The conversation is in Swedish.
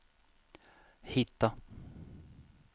hitta